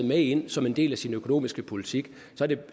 med ind som en del af sin økonomiske politik